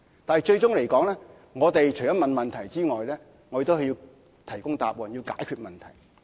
但是，我們除了提出問題外，最終也要提供答案及解決問題。